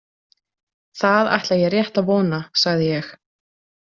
Það ætla ég rétt að vona, sagði ég.